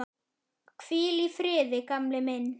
Hvíl í friði, gamli minn.